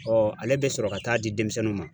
ale bɛ sɔrɔ ka taa di denmisɛnninw ma